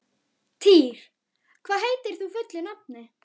Týr, hvað heitir þú fullu nafni?